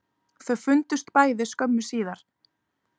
Þau fundust bæði skömmu síðar